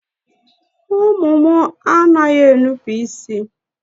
Ụmụ mụ a naghị enupu isi.